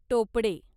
टोपडे